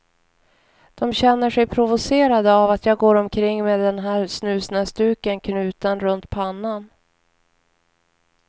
De känner sig provocerade av att jag går omkring med den här snusnäsduken knuten runt pannan.